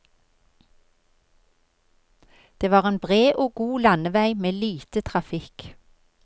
Det var en bred og god landevei med lite trafikk.